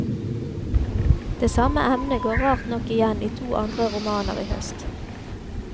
Det samme emnet går rart nok igjen i to andre romaner i høst.